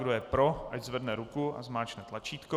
Kdo je pro, ať zvedne ruku a zmáčkne tlačítko.